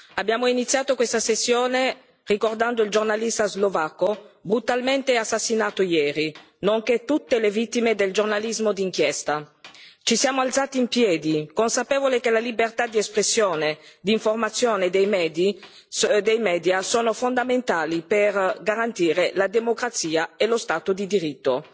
Abbiamo iniziato questa tornata ricordando il giornalista slovacco brutalmente assassinato ieri, nonché tutte le vittime del giornalismo d'inchiesta. Ci siamo alzati in piedi, consapevoli che le libertà di espressione, di informazione e dei media sono fondamentali per garantire la democrazia e lo Stato di diritto.